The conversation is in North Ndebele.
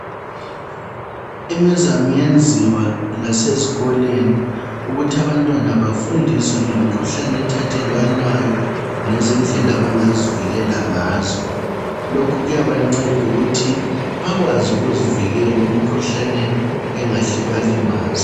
Imizamo iyenziwa lasezikolweni ukuthi abantwana bafundiswe ngemikhuhlane ethathelwanayo lezindlela abangazivikela ngazo. Lokhu kuyabanceda ukuthi bakwazi ukuzivikela emikhuhlaneni engahle ibalimaze.